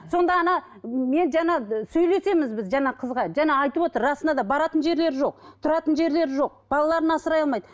сонда ана мен жаңа сөйлесеміз біз жаңа қызға жаңа айтып отыр расында да баратын жерлері жоқ тұратын жерлері жоқ балаларын асырай алмайды